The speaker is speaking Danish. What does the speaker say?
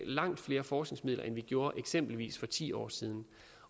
langt flere forskningsmidler end vi gjorde eksempelvis for ti år siden